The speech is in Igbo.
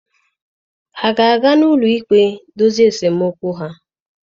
Ha ga-aga n'ụlọ ikpe dozie esemokwu ha.